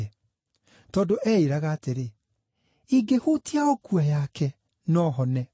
Tondũ eĩĩraga atĩrĩ, “Ingĩhutia o nguo yake, no hone.”